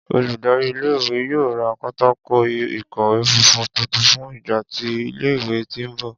Oludari ìle-ìwe yoo ra pátákó ìkọ́wé funfun tuntun fun igba ti ile-iwe ti nbọ.